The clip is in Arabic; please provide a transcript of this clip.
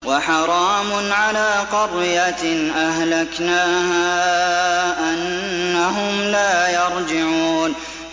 وَحَرَامٌ عَلَىٰ قَرْيَةٍ أَهْلَكْنَاهَا أَنَّهُمْ لَا يَرْجِعُونَ